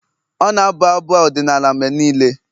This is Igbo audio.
ọ na-abụ abụ ọdịnala mgbe niile